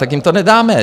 Tak jim to nedáme.